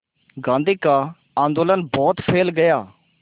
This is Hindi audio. गांधी का आंदोलन बहुत फैल गया